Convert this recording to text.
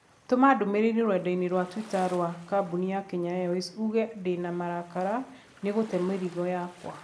Tũma ndũmīrīri rũrenda-inī rũa tũita rũa kambũni kenya airways uuge dĩ na marakara nĩ gũte mĩrigo yakwa